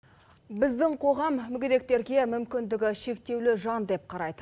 біздің қоғам мүгедектерге мүмкіндігі шектеулі жан деп қарайды